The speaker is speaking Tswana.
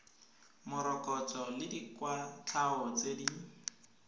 morokotso le dikwatlhao tse di